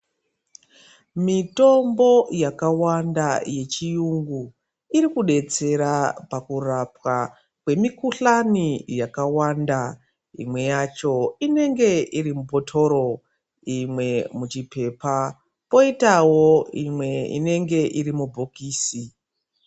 Mitombo yakawanda yechiyungu irikubetsera pakurapwa kwemikhuhlane hakawanda. Imwe yacho inenge irimubhotoro, imwe muchipepa poitawo imwe inenge irimubhokisi.